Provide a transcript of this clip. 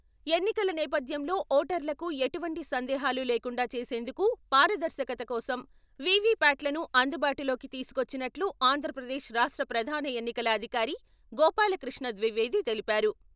ఎన్నికల నేపధ్యంలో ఓటర్లకు ఎటువంటి సందేహాలు లేకుండా చేసేందుకు, పారదర్శకత కోసం వీవీప్యాట్లను అందుబాటులోకి తీసుకొచ్చినట్లు ఆంధ్రపదేశ్ రాష్ట్ర ప్రధాన ఎన్నికల అధికారి గోపాలకృష్ణ ద్వివేది తెలిపారు.